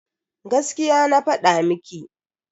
Gaskiya na fada miki.